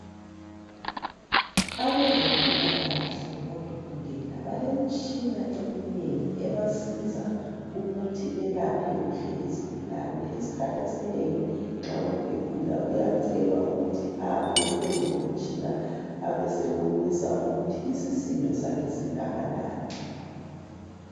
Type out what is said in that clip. Abazempilakahle odokotela balemitshina eminengi ebasiza ukuthi belaphe kuhle izigulane isikhathi esinengi nxa umuntu egula uyacelwa ukuthi ame phezu komtshina abesebonisa ukuthi isisindo sakhe singakanani.